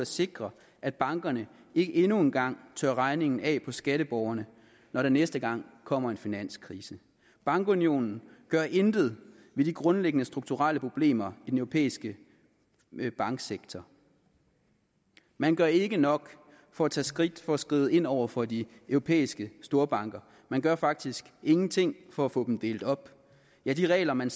sikre at bankerne ikke endnu en gang tørrer regningen af på skatteborgerne når der næste gang kommer en finanskrise bankunionen gør intet ved de grundlæggende strukturelle problemer i den europæiske banksektor man gør ikke nok for at tage skridt for at skride ind over for de europæiske storbanker man gør faktisk ingenting for at få dem delt op ja de regler man